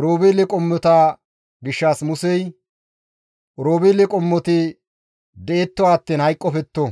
Oroobeele qommota gishshas Musey, «Oroobeele qommoti detto attiin hayqqofetto;